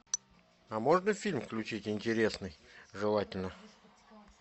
а можно фильм включить интересный желательно